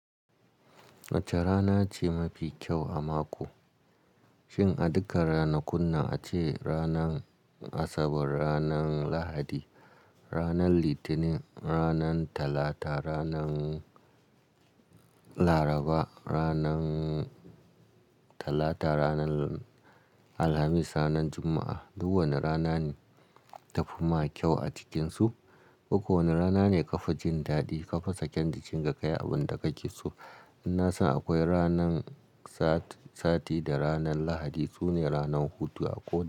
Wacce rana ce mafi kyau a mako? Shin a duka ranakun nan ace ranan Asabar, ranan Lahadi, ranan Litinin, ranan Talata, ranan Laraba, ranan Talata, ranan Alhamis, ranan Juma'a. Duk wane rana ne ta fi ma kyau a cikinsu. Koko wane rana ne ka fa jin daɗi, ka fa sake jin ka kayi abin da ka ke so. In na san akwai ranan sati da ranan Lahadi, su ne ranan hutu a kowa.